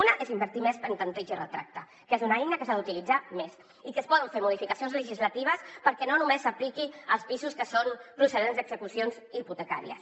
una és invertir més en tanteig i retracte que és una eina que s’ha d’utilitzar més i que es poden fer modificacions legislatives perquè no només s’apliqui als pisos que són procedents d’execucions hipotecàries